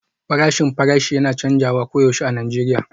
Farashin farashi yana canzawa koyaushe a Najeriya